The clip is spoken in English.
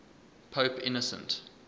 pope innocent